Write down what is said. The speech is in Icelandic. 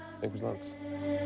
einhvers lands